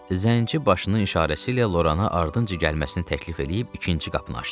Zənci başının işarəsi ilə Lorana ardıncı gəlməsini təklif eləyib ikinci qapını açdı.